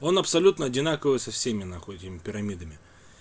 он абсолютно одинаковые со всеми нахуй этими пирамидами